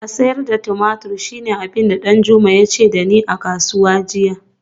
A sayar da tumatur shine abin da Danjuma ya ce da ni a kasuwa jiya